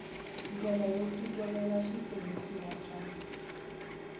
ndlela yo fikelela switirhisiwa swa